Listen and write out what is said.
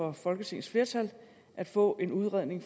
og folketingets flertal at få en udredning